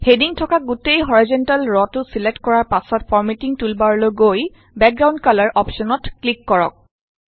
heading থকা গোটেই horizontal ৰটো ছিলেক্ট কৰাৰ পাছত ফৰমেটিং টুলবাৰলৈ গৈ বেকগ্ৰাউণ্ড কালাৰ অপশ্যনত ক্লিক কৰক